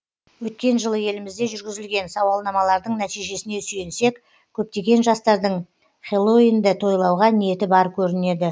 өткен жылы елімізде жүргізілген сауалнамалардың нәтижесіне сүйенсек көптеген жастардың хэллоуинді тойлауға ниеті бар көрінеді